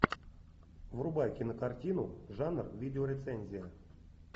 врубай кинокартину жанр видеорецензия